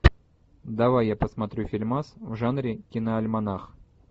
давай я посмотрю фильмас в жанре киноальманах